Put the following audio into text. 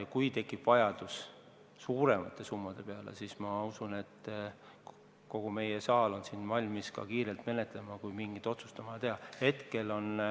Ja kui tekib vajadus suuremate summade järele, siis ma usun, et kogu meie saal on valmis seda otsust kiirelt menetlema.